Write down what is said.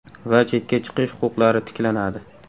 Va chetga chiqish huquqlari tiklanadi.